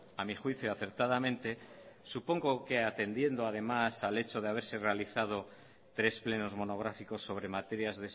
a mi juicio acertadamente supongo que atendiendo además al hecho de haberse realizado tres plenos monográficos sobre materias